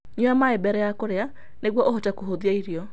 Nyua maĩ mbere ya kũrĩa nĩguo ũhote kũhũthia irio.